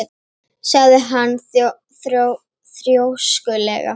sagði hann þrjóskulega.